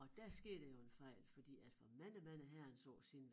Og der skete jo en fejl fordi at for mange mange herrens år siden